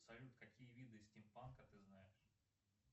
салют какие виды стимпанка ты знаешь